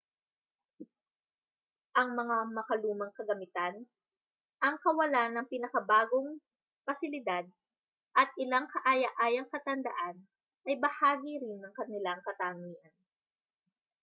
ang mga makalumang kagamitan ang kawalan ng pinakabagong pasilidad at ilang kaaya-ayang katandaan ay bahagi rin ng kanilang katangian